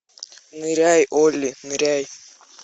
ныряй олли ныряй